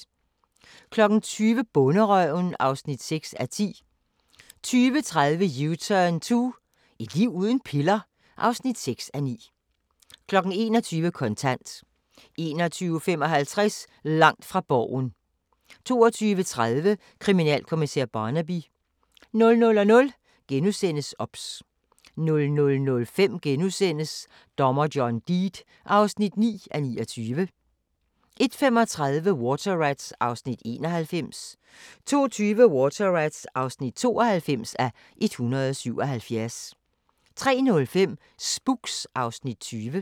20:00: Bonderøven (6:10) 20:30: U-turn 2 – et liv uden piller? (6:9) 21:00: Kontant 21:55: Langt fra Borgen 22:30: Kriminalkommissær Barnaby 00:00: OBS * 00:05: Dommer John Deed (9:29)* 01:35: Water Rats (91:177) 02:20: Water Rats (92:177) 03:05: Spooks (Afs. 20)